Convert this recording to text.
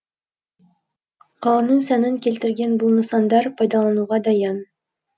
қаланың сәнін келтірген бұл нысандар пайдалануға дайын